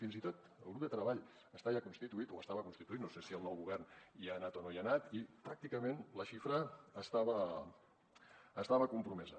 fins i tot el grup de treball està ja constituït o estava constituït no sé si el nou govern hi ha anat o no hi ha anat i pràcticament la xifra estava compromesa